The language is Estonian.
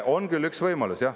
On küll üks võimalus.